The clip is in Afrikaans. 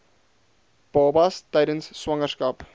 babas tydens swangerskap